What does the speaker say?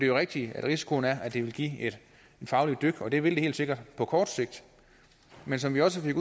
jo rigtigt at risikoen er at det vil give et fagligt dyk og det vil det helt sikkert på kort sigt men som vi også fik